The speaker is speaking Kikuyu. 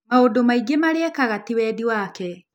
Maũndũ maingĩ marĩa ekaga, ti wendi wake